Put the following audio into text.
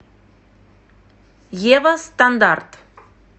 ева стандарт